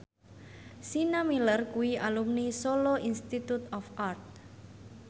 Sienna Miller kuwi alumni Solo Institute of Art